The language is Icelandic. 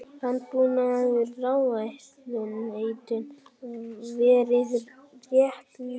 Landbúnaðarráðuneytinu verið rétt lýst.